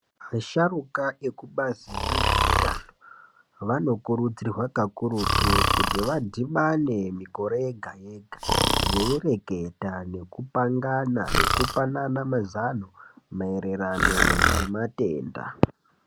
Vasharuka ekubazi rezveutano vanokurudzirwa kakurutu kuti vadhibane mikore yega yega veireketa nekupangana nekupanana mazano maererano ngematenda.